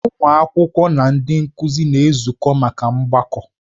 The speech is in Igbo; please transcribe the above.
Ụmụ akwụkwọ na ndị nkụzi na-ezukọ maka mgbakọ.